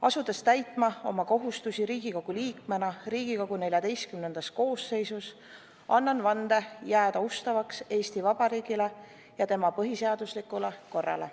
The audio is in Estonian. Asudes täitma oma kohustusi Riigikogu liikmena Riigikogu XIV koosseisus, annan vande jääda ustavaks Eesti Vabariigile ja tema põhiseaduslikule korrale.